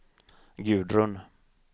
Gudrun